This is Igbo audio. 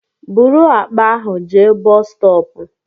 Bụrụ àkpà ahụ jee bọs stọọpu!